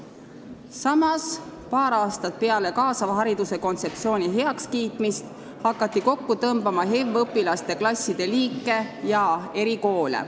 Samas, paar aastat peale kaasava hariduse kontseptsiooni heakskiitmist hakati kokku tõmbama HEV-õpilaste klasside liike ja erikoole ...